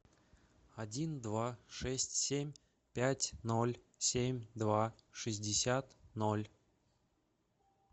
один два шесть семь пять ноль семь два шестьдесят ноль